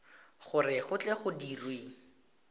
gore go tle go dirwe